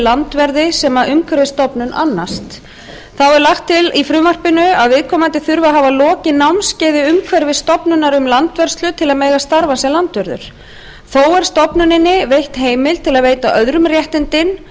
landverði sem umhverfisstofnun annast þá er lagt til í frumvarpinu að viðkomandi þurfi að hafa lokið námskeiði umhverfisstofnunar um landvörslu til að mega starfa sem landvörður þó er stofnuninni veitt heimild til að veita öðrum réttindin